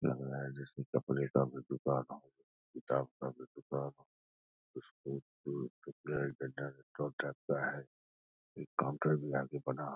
लग रहा है जैसे कपड़े का कोई दुकान हो किताब का भी दुकान हो है एक काउंटर भी आगे बना है ।